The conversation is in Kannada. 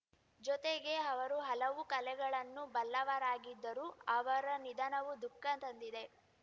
ಜೊತೆಗೆ ಅವರು ಹಲವು ಕಲೆಗಳನ್ನು ಬಲ್ಲವರಾಗಿದ್ದರು ಅವರ ನಿಧನವು ದುಃಖ ತಂದಿದೆ